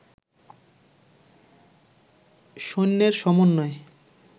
সৈন্যের সমন্নয়ে